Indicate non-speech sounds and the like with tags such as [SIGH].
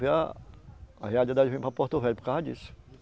[UNINTELLIGIBLE] a a realidade, eu vim para Porto Velho por causa disso.